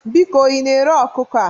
Biko ị na-ere ọkụkọ a?